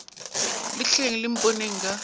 le tleng le mponeng ka